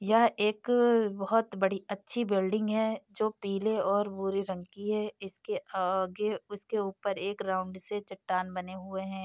यह एक बहुत बड़ी अच्छी बिल्डिंग है जो पीले और भूरे रंग की है इसके आगे उसके ऊपर एक राउंड से चट्टान बने हुए हैं।